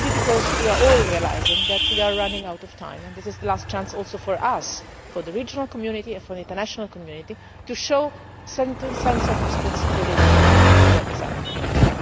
This is maybe because we are all realising that we are running out of time and that this is the last chance for us too for the regional community and for the international community to show some sense of responsibility for what is happening